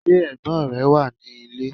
Ṣé ẹ̀gbọ́n rẹ wà ní ilé?